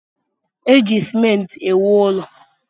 Eji simenti ewu ụlọ.